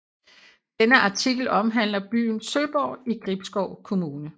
Denne artikel omhandler byen Søborg i Gribskov Kommune